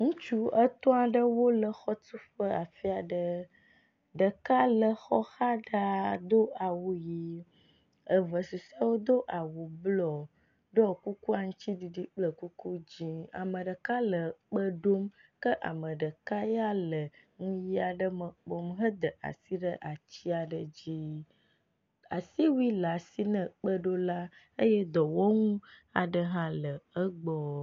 Ŋutsu etɔ̃ aɖewo le exɔtuƒe afi aɖe. Ɖeka le exɔ xa ɖaa do awu ʋi eve susɔewo do awu blɔ ɖɔ kuku aŋtsiɖiɖi kple kuku dzi. ame ɖeka le kpe ɖom kea me ɖeka ya le nu ʋi aɖe me kpɔm heda asi ɖe atsi aɖe dzi.